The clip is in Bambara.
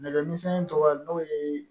Nɛgɛmisɛnnin tɔgɔ n'o ye